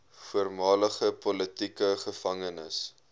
voormalige politieke gevangenes